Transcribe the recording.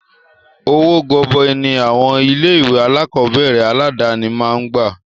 Owó gọbọi ní àwọn ilé ìwé alákọ̀berẹ̀ aládàni máa ń gbà.